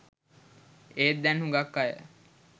ඒත් දැන් හුඟක් අය